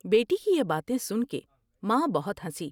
بیٹی کی یہ باتیں سن کے ماں بہت ہنسی ۔